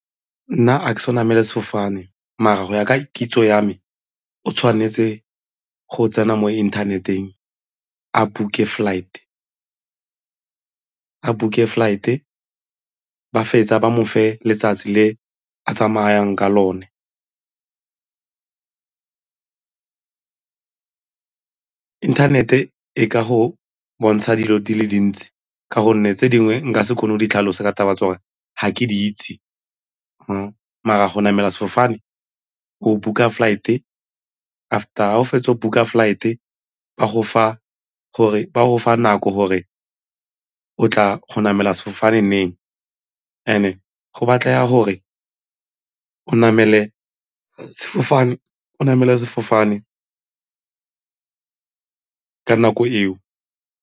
Nna a ke so namele sefofane mara go ya ka kitso ya me o tshwanetse go tsena mo inthaneteng a book-e flight-e ba fetsa ba mofe letsatsi le a tsamayang ka lone inthanete e ka go bontsha dilo di le dintsi ka gonne tse dingwe nka se kgone go di tlhalosa ka taba tsa gore ga ke di itse mara go namela sefofane, go book-a flight-e after ga o fetsa go book-a flight-e ba gofa nako gore o tla go namela sefofane neng and-e go batlega gore o namele sefofane ka nako eo.